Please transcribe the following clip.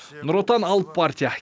нұр отан алып партия